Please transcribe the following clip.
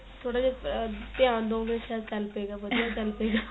ਥੋੜਾ ਜਾ ਧਿਆਨ ਦੋ ਗੇ ਸ਼ਾਇਦ ਚੱਲ ਪਏਗਾ ਵਧੀਆ ਚਲਪੇਗਾ